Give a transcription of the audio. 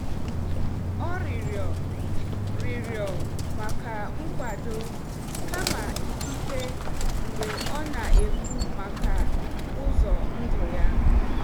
Ọ rịọrọ rịọrọ maka nkwado kama ikike mgbe ọ na-ekwu maka ụzọ ndụ ya.